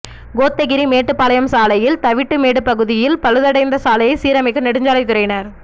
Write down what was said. கோத்தகிரி மேட்டுப்பாளையம் சாலையில் தவிட்டுமேடு பகுதியில் பழுதடைந்த சாலையை சீரமைக்கும் நெடுஞ்சாலை துறையினா்